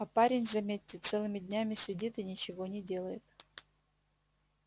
а парень заметьте целыми днями сидит и ничего не делает